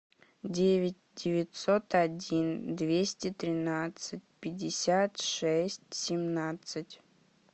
девять девятьсот один двести тринадцать пятьдесят шесть семнадцать